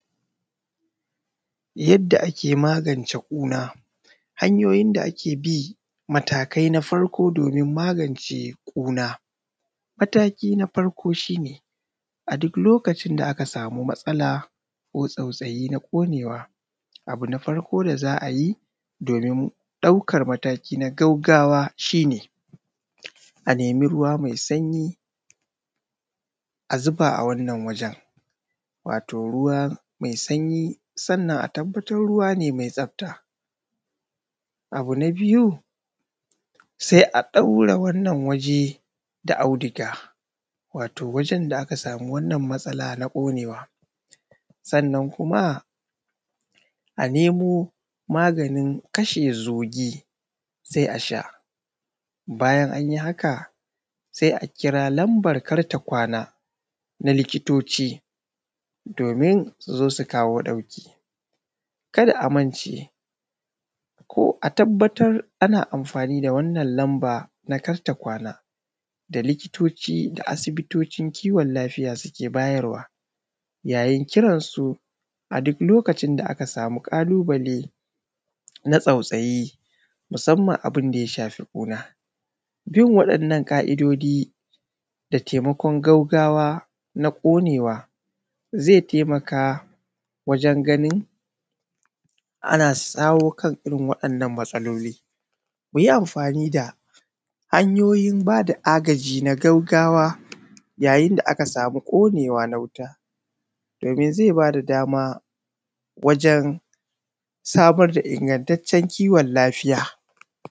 Yadda ake magance ƙuna, hanyoyin da ake bi matakai na farko domin magance ƙuna. Mataki na farko shi ne a duk lokacin da aka samu matsala ko tsautsayi na ƙonewa abu na farko da za a yi domin ɗaukar mataki na gaugawa shi ne a nemi ruwa mai sanyi a zuba a wannan wajen wato ruwa mai sanyi sannan a tabbatar ruwa ne mai tsafta, abu na biyu sai a ɗaure wannan waje da auduga sannan kuma a nemo maganin kashe zugi sai a sha, bayan an yi haka sai a kira lambar kar-ta-kwana na likitoci domin su zo su kawo ɗauki, kar a mance a tabbatar ana amfani da wannan lambar kar ta kwana da likitoci da asibitotin kiwon lafiya suke bayarwa, yayin kiransu a duk lokacin da aka samu ƙalubale na tsautsayi musamman abun da ya shafi ƙuna. Bin waɗannan ƙa’idodi da taimakon gaugawa na ƙonewa zai taimaka wajen ganin ana shawo kan irin wannan matsaloli. Ku yi amfani da hanyoyin bada agaji na gaugawa yayin da aka samu ƙonewa na wuta domin zai bada dama wajen samar da ingantaccen kiwon lafiya.